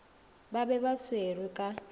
ba be ba swerwe ka